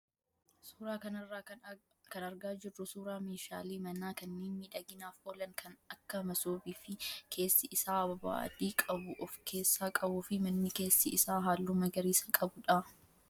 Suuraa kanarraa kan argaa jirru suuraa meeshaalee manaa kanneen miidhaginaaf oolan kan akka masoobii fi keessi isaa ababaa adii qabu of keessaa qabuu fi manni keessi isaa halluu magariisa qabudha.